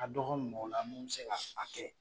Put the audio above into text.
Ka dɔgɔ mɔgɔ la mun be se ga a kɛ